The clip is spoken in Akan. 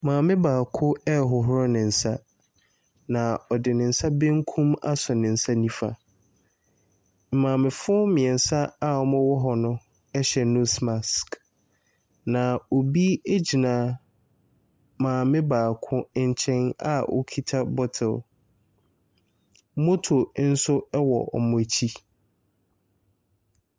Maame baako ɛrehohoro ne nsa, na ɔde ne nsa bankum asɔ ne nsa nifa. Amaamefo mmiɛnsa a wɔwɔ hɔ no ɛhyɛ nose mask, na obi ɛgyina maame baako nkyɛn a okita bottle. Motto nso ɛwɔ wɔn akyi.